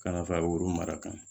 Ka na fa woro mara kan